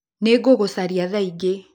Nĩngũgũcaria thaa ingĩ.